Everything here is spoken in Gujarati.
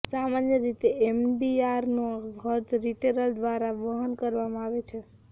સામાન્ય રીતે એમડીઆરનો ખર્ચ રિટેલર દ્વારા વહન કરવામાં આવે છે